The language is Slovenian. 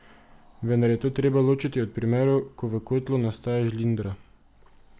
Vendar je to treba ločiti od primerov, ko v kotlu nastaja žlindra.